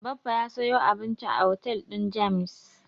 Baffa ya sayo abinci a otel din James.